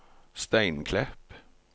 Steinklepp